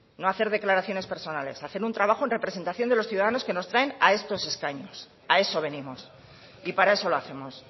no a hacer declaraciones personales a hacer un trabajo en representación de los ciudadanos que nos traen a estos escaños a eso venimos y para eso lo hacemos